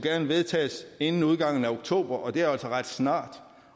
vedtages inden udgangen af oktober og det er altså ret snart